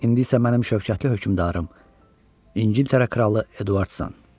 İndi isə mənim şövkətli hökmdarım, İngiltərə kralı Eduardsan.